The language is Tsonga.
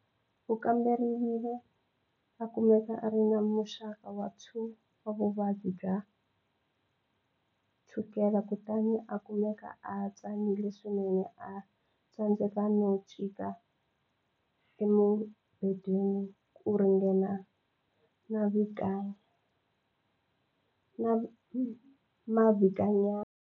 U kamberiwile a kumeka a ri na muxaka wa 2 wa vuvabyi bya chukela kutani a kumeke a tsanile swinene a tsandzeka no chika emubedweni ku ringana mavhikinyana.